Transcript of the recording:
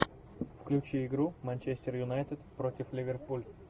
включи игру манчестер юнайтед против ливерпуль